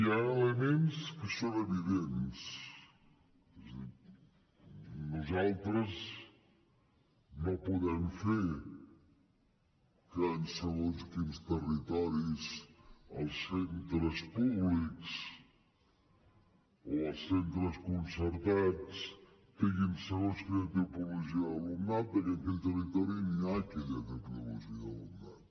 hi ha elements que són evidents és a dir nosaltres no podem fer que en segons quins territoris els centres públics o els centres concertats tinguin segons quina tipologia d’alumnat perquè en aquell territori no hi ha aquella tipologia d’alumnat